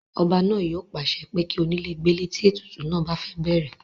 ọba náà yóò pàṣẹ pé kí onílè gbélé tí ètùtù náà bá fẹ́ bẹ̀rẹ̀